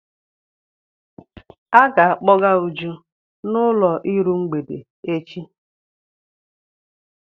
A ga-akpọga Uju n'ụlọ iru mgbede echi.